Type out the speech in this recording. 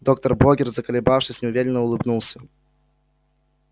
доктор богерт заколебавшись неуверенно улыбнулся